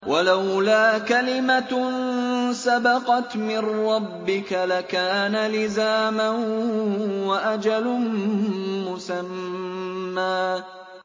وَلَوْلَا كَلِمَةٌ سَبَقَتْ مِن رَّبِّكَ لَكَانَ لِزَامًا وَأَجَلٌ مُّسَمًّى